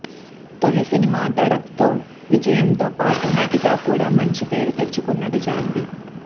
తోలి సినిమా ధడక్ తో విజయంతో పాటు నటిగా కూడా మంచి పేరు తెచ్చుకున్నది జాన్వి